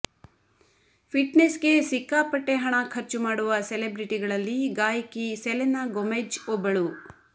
fitness ಗೆ ಸಿಕ್ಕಾಪಟ್ಟೆ ಹಣ ಖರ್ಚು ಮಾಡುವ ಸೆಲೆಬ್ರಿಟಿಗಳಲ್ಲಿ ಗಾಯಕಿ ಸೆಲೆನಾ ಗೊಮೆಜ್ ಒಬ್ಬಳು